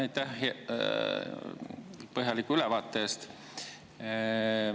Aitäh põhjaliku ülevaate eest!